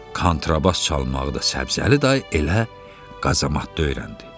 Kontrabas çalmağı da Səbzəli dayı elə qazamatda öyrəndi.